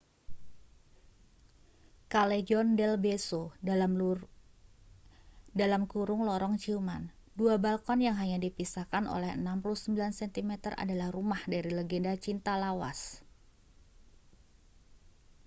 callejon del beso lorong ciuman. dua balkon yang hanya dipisahkan oleh 69 sentimeter adalah rumah dari legenda cinta lawas